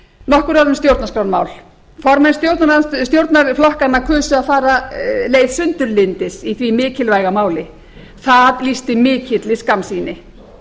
nokkur orð um stjórnarskrármál formenn stjórnarflokkanna kusu að fara leið sundurlyndis í því mikilvæga máli það lýsti mikilli skammsýni